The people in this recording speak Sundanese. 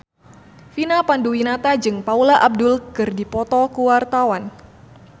Vina Panduwinata jeung Paula Abdul keur dipoto ku wartawan